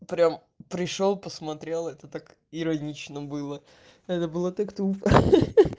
прям пришёл посмотрел это так иронично было это было так тупо хе-хе